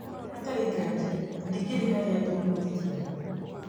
Hatarĩ ngaja ndingĩrĩ harĩa ndĩ ũmothe tiga nĩ we.